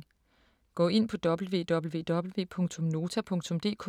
Gå ind på www.nota.dk